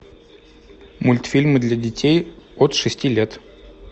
мультфильмы для детей от шести лет